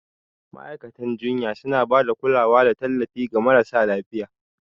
Ma'aikatan jinya suna ba da kulawa da tallafi ga marasa lafiya.